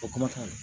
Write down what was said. O